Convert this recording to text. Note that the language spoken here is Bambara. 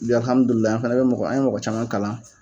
Bi alihamdulilayi an fana bɛ mɔgɔ an ye mɔgɔ caman kalan